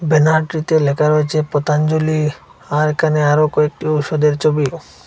ব্যানারটিতে লেখা রয়েছে পতঞ্জলি আর এখানে আরও কয়েকটি ওষুধের ছবি।